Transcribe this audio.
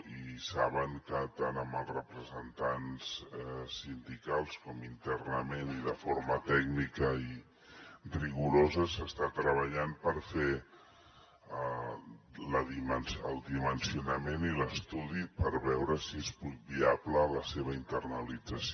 i saben que tant amb els representants sindicals com internament i de forma tècnica i rigorosa s’està treballant per fer el dimensionament i l’estudi per veure si és viable la seva internalització